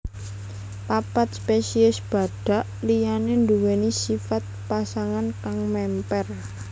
Papat spesies badhak liyané nduwèni sifat pasangan kang mémper